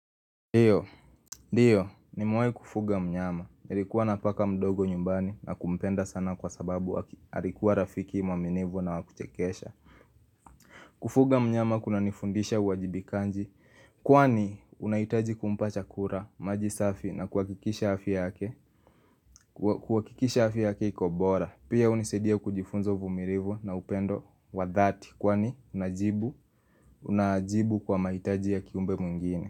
Ndio, ndio, nimewahi kufuga mnyama, nilikuwa na paka mdogo nyumbani na kumpenda sana kwa sababu, alikuwa rafiki mwaminifu na wa kuchekesha Kufuga mnyama kunanifundisha uwajibikaji, kwani unahitaji kumpa chakula, maji safi na kuhakikisha afya yake, kuhakikisha afya yake iko bora Pia hunisaidia kujifunza uvumilivu na upendo wa dhati, kwani unajibu, unajibu kwa mahitaji ya kiumbe mwingine.